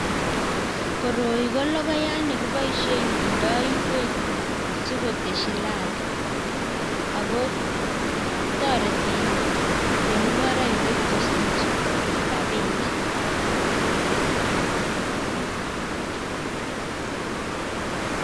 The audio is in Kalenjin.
Koroi ko logoyaat nekiboisheen kindoo ingweek sikoteshi ladha, ako toreti chemungoroindet kosiich rabinik.